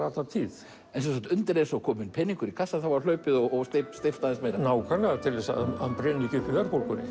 alla tíð en undir eins og kominn peningur í kassann var hlaupið og steypt aðeins meira nákvæmlega svo hann brynni ekki upp í verðbólgunni